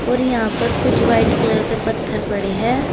और यहां पर कुछ व्हाइट कलर के पत्थर पड़े हैं।